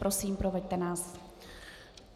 Prosím, proveďte nás.